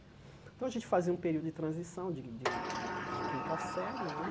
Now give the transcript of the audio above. Então a gente fazia um período de transição de de de de quinta série né.